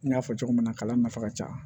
N y'a fɔ cogo min na kalan nafa ka ca